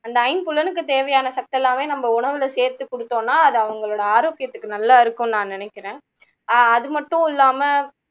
அந்த ஐம்புலனுக்கு தேவையான சத்தெல்லாமே நாம உணவுல சேத்து கொடுத்தோம்னா அது அவங்களோட ஆரோக்கியத்துக்கு நல்லா இருக்கும்னு நான் நினைக்குறேன் ஆஹ் அது மட்டும் இல்லாம